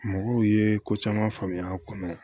Mɔgɔw ye ko caman faamuya a kɔnɔ